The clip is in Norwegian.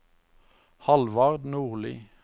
Halvard Nordli